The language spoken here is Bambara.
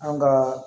An ka